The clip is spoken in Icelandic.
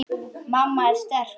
Mamma er sterk.